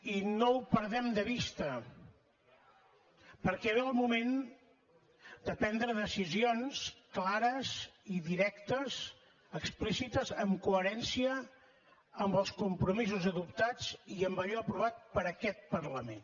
i no ho perdem de vista perquè ve el moment de prendre decisions clares i directes explícites en coherència amb els compromisos adoptats i amb allò aprovat per aquest parlament